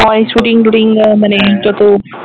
হয় শুটিং টুটিং মানে যত